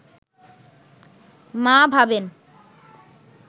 মা ভাবেন